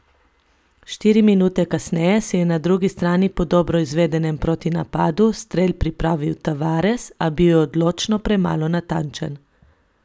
Štiri minute kasneje si je na drugi strani po dobro izvedenem protinapadu strel pripravil Tavares, a bil odločno premalo natančen.